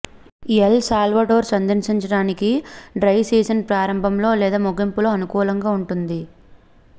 L Salvador సందర్శించడానికి dry season ప్రారంభంలో లేదా ముగింపులో అనుకూలంగా ఉంటుంది